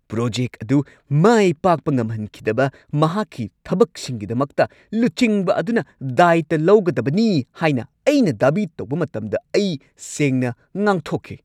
Project ꯑꯗꯨ ꯃꯥꯏ ꯄꯥꯛꯄ ꯉꯝꯍꯟꯈꯤꯗꯕ ꯃꯍꯥꯛꯀꯤ ꯊꯕꯛꯁꯤꯡꯒꯤꯗꯃꯛꯇ ꯂꯨꯆꯤꯡꯕ ꯑꯗꯨꯅ ꯗꯥꯢꯇ ꯂꯧꯒꯗꯕꯅꯤ ꯍꯥꯏꯅ ꯑꯩꯅ ꯗꯥꯕꯤ ꯇꯧꯕ ꯃꯇꯝꯗ ꯑꯩ ꯁꯦꯡꯅ ꯉꯥꯡꯊꯣꯛꯈꯤ꯫